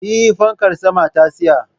Eh, fankar saman ta tsaya